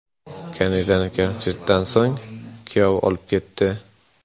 Kanizani konsertdan so‘ng kuyov olib ketdi .